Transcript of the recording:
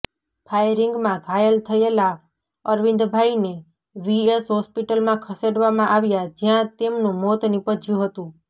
ફાયરિંગમાં ઘાયલ થયેલા અરવિંદભાઈને વીએસ હોસ્પિટલમાં ખસેડવામાં આવ્યા જ્યાં તેમનું મોત નિપજ્યુ હતું